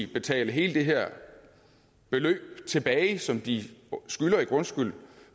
betale hele det her beløb tilbage som de skylder i grundskyld